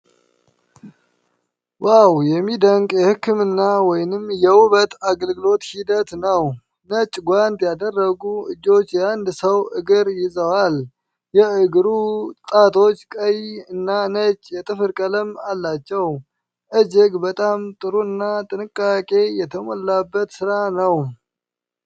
ዋው! የሚደንቅ የሕክምና ወይም የውበት አገልግሎት ሂደት ነው። ነጭ ጓንት ያደረጉ እጆች የአንድን ሰው እግር ይዘዋል። የእግሩ ጣቶች ቀይ እና ነጭ የጥፍር ቀለም አላቸው። እጅግ በጣም ጥሩ እና ጥንቃቄ የተሞላበት ሥራ ነው።